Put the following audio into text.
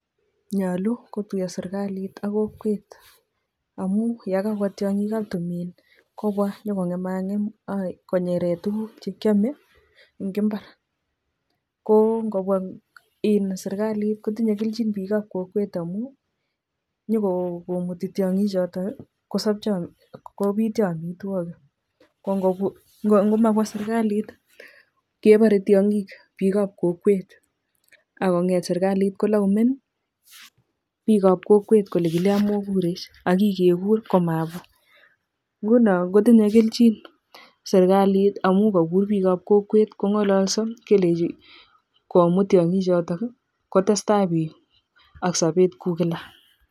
Nyoluu ko tuyoo serikalit ak kokwet amuu yee kakobwa tianyik ab tumin kobwa nyuko ngemak ngem ak ko nyeree tukuuk che kiame eng imbar ko ngobwa serikalit ko tinyei kelchin biik ab kokwet amuu nyukomutii tianyik chotok kosobcho ko bitnyo amitwokik ak ko mabwa serikalit kebaree tianyik bik ab kokwet ak konyeet serikalit kolaumen biik ab kokwet kolee kilian mokurech ak kikekur ko mabwa ngono kotindoi kelchin serikalit amu kakur biik ab kokwet konyoloso komut tianyik chotok kotestai biik ak sobet kou Kila